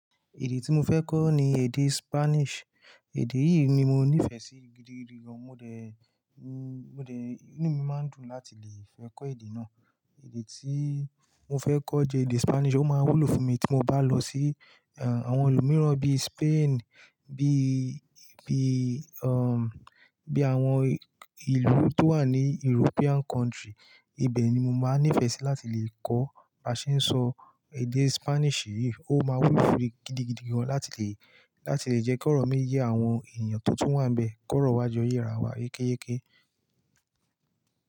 Èdè tí mo fẹ́ kọ́ ni èdè Spanish. Èdè yìí ni mo nífẹ̀ẹ́ sí gidigidi gan. Mo dẹ̀, mo dẹ̀, inú mi máa ń dùn láti lè fẹ́ kọ́ èdè náà. Èdè tí mo fẹ́ kọ́ jẹ èdè Spanish, ó máa wúlò fún mi tí mo bá lọ sí, ehn, àwọn àwọn ìlú mìíràn bí i Spain, bí i, bí i, ehm, bí i àwọn ìlú tó wà ní European country. Ibẹ̀ ni mo máa ń nífẹ̀ẹ́ sí láti lè kọ́. Maṣe sọ èdè Spanish yìí, ó máa wúlò fún mi gidigidi gan láti lè, láti lè jẹ́ kí ọ̀rọ̀ mí yẹ àwọn èèyàn tó tún wà níbẹ̀ kọ̀rọ̀ wá ju oyè ara wa kéékééké.